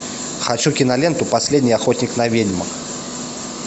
хочу киноленту последний охотник на ведьм